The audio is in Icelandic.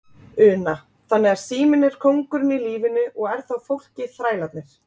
Una: Þannig að síminn er kóngurinn í lífinu og er þá fólkið þrælarnir?